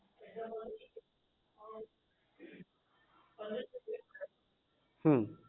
હમ